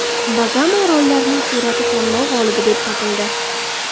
Bagama orollarining surati tanlov g‘olibi deb topildi.